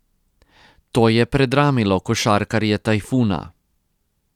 To je predramilo košarkarje Tajfuna.